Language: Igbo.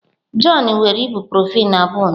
Jọn were ibuprofen abụọ ụnyahụ.